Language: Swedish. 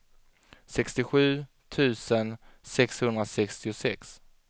sextiosju tusen sexhundrasextiosex